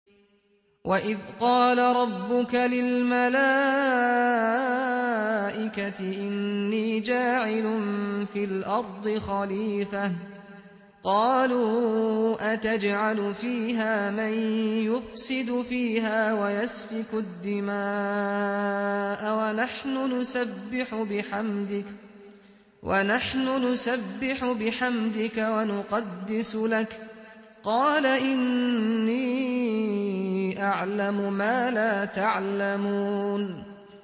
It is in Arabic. وَإِذْ قَالَ رَبُّكَ لِلْمَلَائِكَةِ إِنِّي جَاعِلٌ فِي الْأَرْضِ خَلِيفَةً ۖ قَالُوا أَتَجْعَلُ فِيهَا مَن يُفْسِدُ فِيهَا وَيَسْفِكُ الدِّمَاءَ وَنَحْنُ نُسَبِّحُ بِحَمْدِكَ وَنُقَدِّسُ لَكَ ۖ قَالَ إِنِّي أَعْلَمُ مَا لَا تَعْلَمُونَ